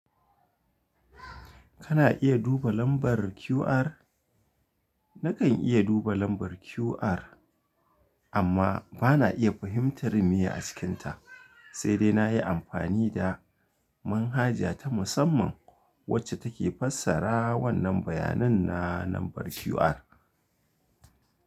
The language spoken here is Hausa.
Kana iya duba lambar QR? Nakan iya duba lambar QR, amma ba na iya fahimtar miya a cikinta, sai dai na yi amfani da manhaja ta musamman wacce take fassara wannan bayanin na lambar QR.